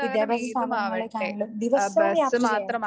വിദ്യാഭ്യാസ സ്ഥാപനങ്ങളിലേക്കാണെങ്കിലും ദിവസവും യാത്ര ചെയ്യണം.